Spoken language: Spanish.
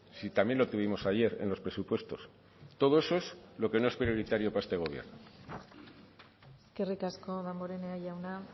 si también lo tuvimos ayer en los presupuestos todo eso es lo que no es prioritario para este gobierno eskerrik asko damborenea jauna